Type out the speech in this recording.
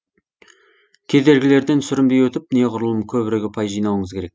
кедергілерден сүрінбей өтіп неғұрлым көбірек ұпай жинауыңыз керек